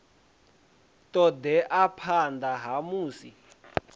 ṱo ḓea phanḓa ha musi